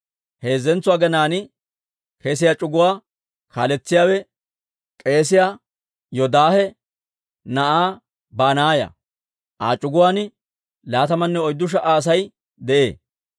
Heezzantso aginaan kesiyaa c'uguwaa kaaletsiyaawe k'eesiyaa Yoodaahe na'aa Banaaya; Aa c'uguwaan laatamanne oyddu sha"a Asay de'ee.